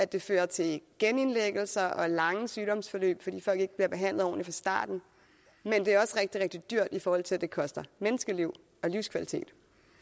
det fører til genindlæggelser og lange sygdomsforløb fordi folk ikke bliver behandlet ordentligt fra starten men det er også rigtig rigtig dyrt i forhold til at det koster menneskeliv og livskvalitet